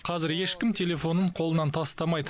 қазір ешкім телефонын қолынан тастамайды